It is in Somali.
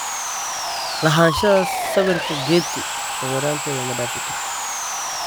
Lahaanshaha sawirka Getty sawiranteda Ma dhaafi kartid!